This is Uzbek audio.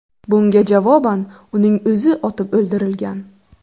Bunga javoban uning o‘zi otib o‘ldirilgan.